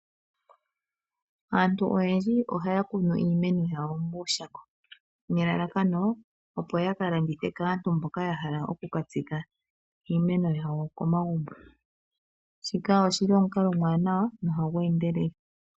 Aantu oyendji ohaya kunu iimeno yawo muushako nelalakano, opo ya ka landithe kaantu mboka ya hala oku ka tsika iinemo yawo komagumbo. Shika oshili omukalo omuwanawa nohagu endelele.